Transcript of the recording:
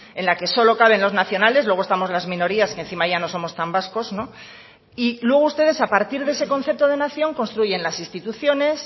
en la que solo caben los nacionales luego estamos las minorías que encima ya no somos tan vascos y luego ustedes a partir de ese concepto de nación construyen las instituciones